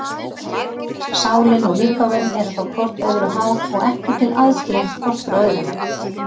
Sálin og líkaminn eru þá hvort öðru háð og ekki til aðskilin hvort frá öðru.